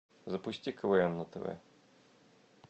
запусти квн на тв